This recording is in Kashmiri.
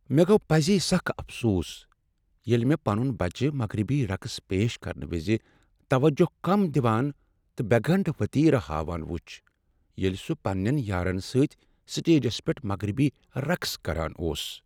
مےٚ گوٚو پزی سخ افسوس ییٚلہ مےٚ پنُن بچہ مغربی رقص پیش کرنہٕ وز توجہ کم دوان تہ بے گنڈ وتیر ہاوان وُچھ، ییٚلہ سُہ پننین یارن سۭتی سٹیجس پیٹھ مغربی رقص کران اوس۔